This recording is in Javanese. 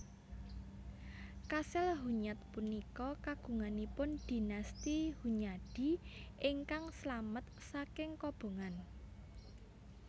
Kasil Hunyad punika kagunganipun Dinasti Hunyadi ingkang slamet saking kobongan